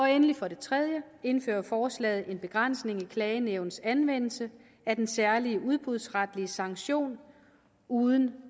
endelig for det tredje indfører forslaget en begrænsning af klagenævnets anvendelse af den særlige udbudsretlige sanktion uden